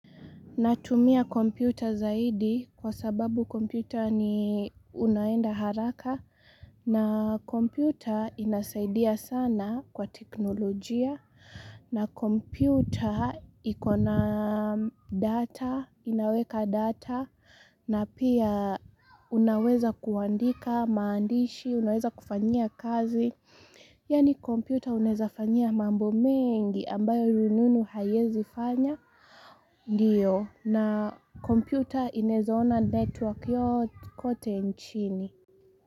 Natumia kompyuta zaidi kwa sababu kompyuta ni unaenda haraka na kompyuta inasaidia sana kwa teknolojia na kompyuta ikona data inaweka data na pia unaweza kuandika maandishi unaweza kufanya kazi. Yaani kompyuta unezafanya mambo mengi ambayo rununu hayezi fanya Ndiyo na kompyuta inezona network yo kote nchini.